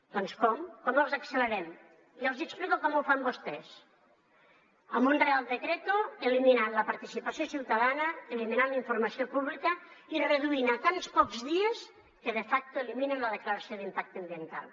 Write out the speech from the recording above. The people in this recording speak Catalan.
doncs com com els accelerem jo els hi explico com ho fan vostès amb un real decreto eliminant la participació ciutadana eliminant la informació pública i reduint a tants pocs dies que de facto eliminen la declaració d’impacte ambiental